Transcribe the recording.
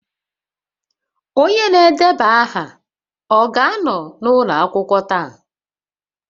Onye na-edeba aha ọ ga-anọ n'ụlọ akwụkwọ taa?